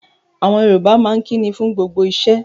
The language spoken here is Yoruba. Àwọn Yorùbá maa n kínní fún gbogbo ìṣẹ̀